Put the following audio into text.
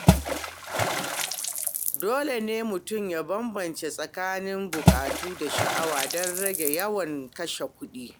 Dole ne mutum ya bambanta tsakanin ɓukatu da sha'awa don rage yawan kashe kuɗi.